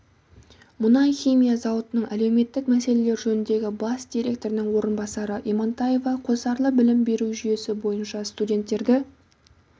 мұнай-химия зауытының әлеуметтік мәселелер жөніндегі бас директорының орынбасары имантаева қосарлы білім беру жүйесі бойынша студенттерді